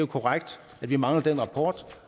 korrekt at vi mangler den rapport